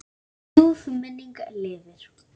Ljúf minning lifir.